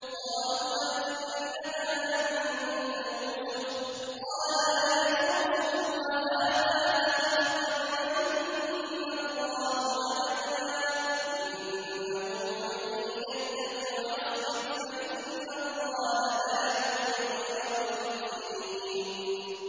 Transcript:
قَالُوا أَإِنَّكَ لَأَنتَ يُوسُفُ ۖ قَالَ أَنَا يُوسُفُ وَهَٰذَا أَخِي ۖ قَدْ مَنَّ اللَّهُ عَلَيْنَا ۖ إِنَّهُ مَن يَتَّقِ وَيَصْبِرْ فَإِنَّ اللَّهَ لَا يُضِيعُ أَجْرَ الْمُحْسِنِينَ